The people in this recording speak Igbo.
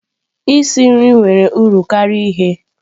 Isi nri nwere uru karịa ighe.